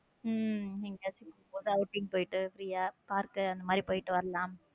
உம் எங்கயாச்சு outing போயிட்டு free யா park அந்த மாதிரி போயிட்டு வரலாம்.